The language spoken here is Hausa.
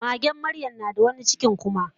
magen maryam nada wani cikin kuma